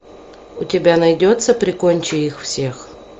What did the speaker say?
у тебя найдется прикончи их всех